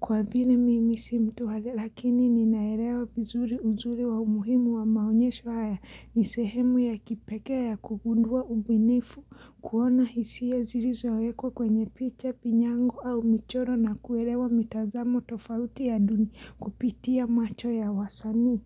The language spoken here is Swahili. kwa vine mimisi mtu hale lakini ninaelewa vizuri uzuri wa umuhimu wa maonyesho haya nisehemu ya kipekee ya kugundua ubinifu kuona hisia zirizo ekwa kwenye picha pinyango au michoro na kuelewa mitazamo tofauti ya duni kupitia macho ya wasanii.